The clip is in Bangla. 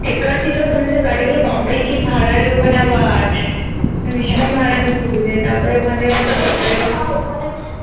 tekar ছিল ওখানে সেই গাড়িগুলো বাপরে কি ভাড়া রে ওখানে আবার ভীষণ ভাড়া তারপরে ওখানথেকে